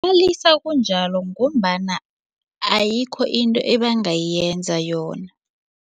kunjalo ngombana ayikho into ebangayenza yona.